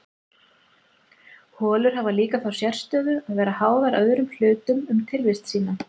holur hafa líka þá sérstöðu að vera háðar öðrum hlutum um tilvist sína